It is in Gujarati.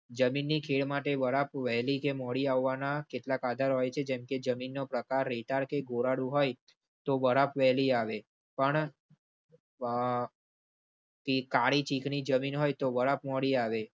જમીની ખેતી માટે વરાપ વહેલી કે મોડી આવવાના કેટલાક આધાર હોય છે. જેમ કે જમીનનો પ્રકારની હોય તો વેલી આવે. કાળી ચીકની જમીન હોય તો વારા મોડી આવે.